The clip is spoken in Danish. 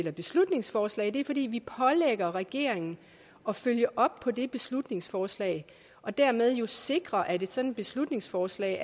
et beslutningsforslag er det fordi vi pålægger regeringen at følge op på det beslutningsforslag og dermed sikre at et sådant beslutningsforslag